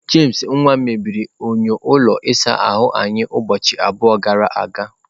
James nwa mebiri enyo ụlọ ịsa ahụ anyị ụbọchị abụọ gara aga.